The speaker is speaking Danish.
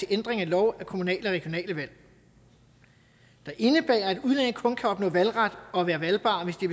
ændring af lov om kommunale og regionale valg der indebærer at udlændige kun kan opnå valgret og være valgbare hvis de